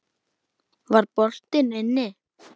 Var boltinn inni?